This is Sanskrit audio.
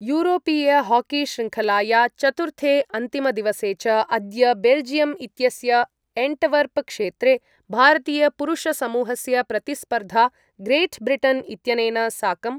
यूरोपीयहाकीशृङ्खलाया चतुर्थे अन्तिमदिवसे च अद्य बेल्जियम् इत्यस्य एंटवर्पक्षेत्रे भारतीयपुरुषसमूहस्य प्रतिस्पर्धा ग्रेट् ब्रिटन् इत्यनेन साकं